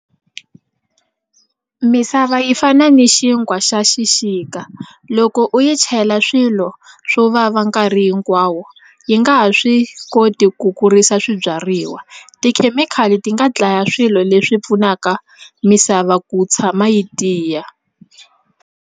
Misava yi fana ni xinkwa xa xixika loko u yi chela swilo swo vava nkarhi hinkwawo yi nga ha swi koti ku kurisa swibyariwa tikhemikhali ti nga dlaya swilo leswi pfunaka misava ku tshama yi tiya.